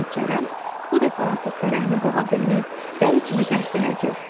deyə Kərəm bu dəfə artıq fərəhini boğa bilməyib dəli kimi qəhqəhə çəkdi.